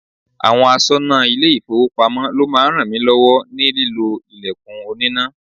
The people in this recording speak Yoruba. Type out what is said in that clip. Àwọn aṣọnà ile-ifowopamo ló máa ń rànmilọ́wọ́ ní lílo ilẹ̀kùn oníná.